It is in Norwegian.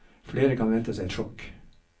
Flere kan vente seg et sjokk.